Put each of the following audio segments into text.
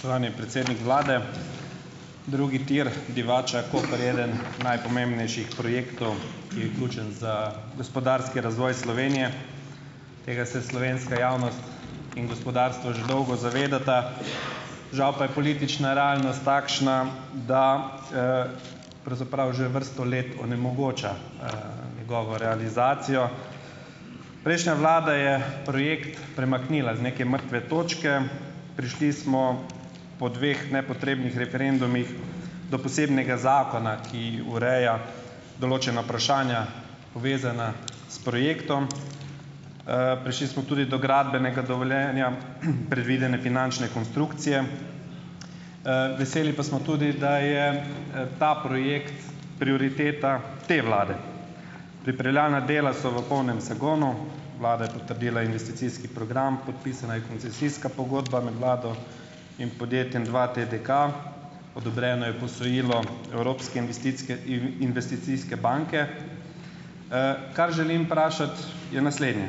predsednik vlade, drugi tir Divača- Koper je eden najpomembnejših projektov, ki je ključen za gospodarski razvoj Slovenije. Tega se slovenska javnost in gospodarstvo že dolgo zavedata, žal pa je politična realnost takšna, da, pravzaprav že vrsto let onemogoča, njegovo realizacijo. Prejšnja vlada je projekt premaknila z neke mrtve točke. Prišli smo po dveh nepotrebnih referendumih do posebnega zakona, ki ureja določena povezana s projektom. Prišli smo tudi do gradbenega dovoljenja, predvidene finančne konstrukcije. Veseli pa smo tudi, da je, ta projekt prioriteta te vlade. Pripravljalna dela so v polnem zagonu, vlada je potrdila investicijski program, podpisana je koncesijska pogodba med vlado in podjetjem dva TDK, odobreno je posojilo Evropske investicke investicijske banke. Kar želim je naslednje.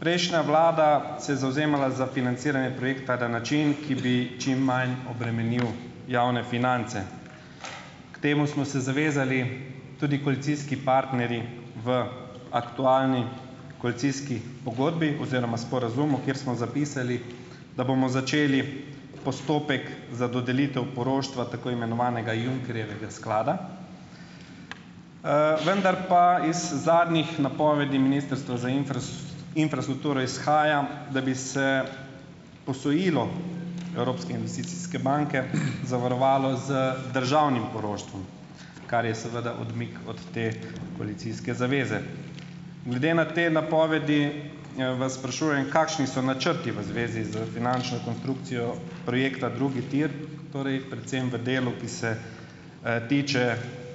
Prejšnja vlada se je zavzemala za financiranje projekta na način, ki bi čim manj obremenil javne finance. K temu smo se zavezali tudi koalicijski partnerji v aktualni koalicijski pogodbi oziroma sporazumu, kjer smo zapisali, da bomo začeli postopek za dodelitev poroštva tako imenovanega Junckerjevega sklada, vendar pa iz zadnjih napovedi Ministrstva za infrastrukturo izhaja, da bi se posojilo Evropske investicijske banke zavarovalo z državnim poroštvom, kar je seveda odmik od te koalicijske zaveze. Glede na te napovedi, vas sprašujem, kakšni so načrti v zvezi d finančno konstrukcijo projekta drugi tir, torej predvsem v delu, ki se, tiče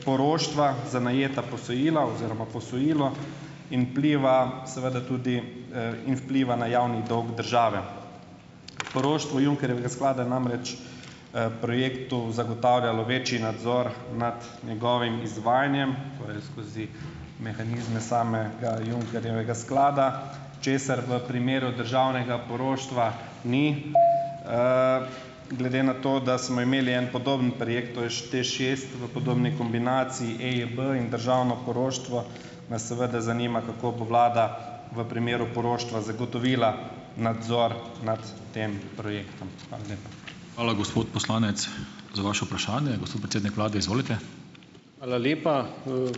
poroštva za najeta posojila oziroma posojilo in vpliva seveda tudi, in vpliva na javni dolg države. Poroštvo Junckerjevega sklada namreč, projektu zagotavljalo večji nadzor nad njegovim izvajanjem, torej skozi mehanizme Junckerjevega sklada, česar v primeru državnega poroštva ni, Glede na to, da smo imeli en podoben projekt, to je TEŠ šest, v podobni kombinaciji EIB in državno poroštvo, nas seveda zanima, kako bo vlada v primeru poroštva zagotovila nadzor nad tem projektom. Hvala lepa.